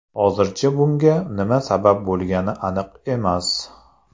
Hozircha bunga nima sabab bo‘lgani aniq emas.